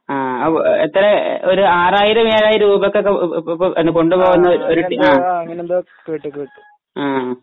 ആ ആ എത്ര ഒര് ഒരു ആറായിരം ഏഴായിരം രൂപയ്കൊക്കെ ഇപ്പൊ ഇപ്പൊ ഇപ്പൊ കൊണ്ടുപോകുന്നൊരു ആ